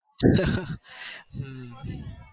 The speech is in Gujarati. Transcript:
હમ